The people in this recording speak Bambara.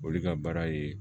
Olu ka baara ye